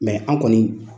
an kɔni